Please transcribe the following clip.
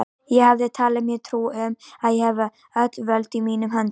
Ég hafði talið mér trú um, að ég hefði öll völd í mínum höndum.